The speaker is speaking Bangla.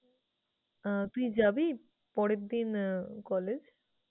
আহ তুই যাবি পরেরদিন আহ college?